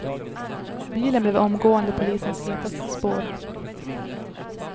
Bilen blev omgående polisens hetaste spår.